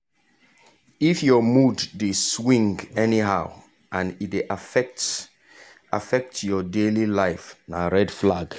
if your mood dey swing anyhow and e dey affect affect your daily life na red flag.